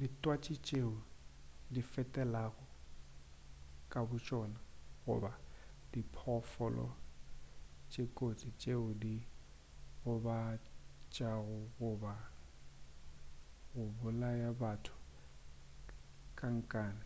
ditwatši tšeo difetelago ka botšona goba diphoofolo tše kotsi tšeo di ka gobatšago goba go bolaya batho ka nkane